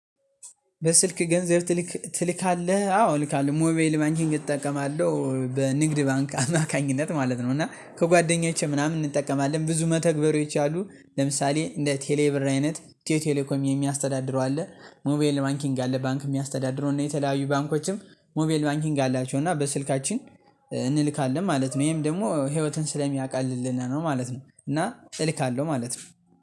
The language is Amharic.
በስልክ ገንዘብ ትልካለህ አዎ እልካለሁ ሞባይል ባንኪንግ እጠቀማለሁ በንግድ ባንክ አማካኝነት ማለት ነው እና ከጓደኛችን ምናምን እንጠቀማለን ብዙ መተግበሪያወች አሉ ለምሳሌ እንደ ቴሌብር አይነት ኢትዮ ቴሌኮም የሚያስተዳድረው አለ። ሞባይል ባንኪንግ አለ ባንክ የሚያስተዳድረው የተለያዩ ባንኮችም። ሞባይል ባንኪንግ አላቸው እና በስልካችን እንልካለን ማለት ነው። ይሄም ደግሞ ህይወትን ስለሚያቀልልን ነው ማለት ነው። እና እልካለሁ ማለት ነው